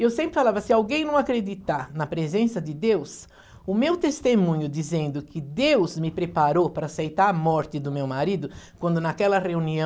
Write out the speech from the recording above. E eu sempre falava, se alguém não acreditar na presença de Deus, o meu testemunho dizendo que Deus me preparou para aceitar a morte do meu marido, quando naquela reunião,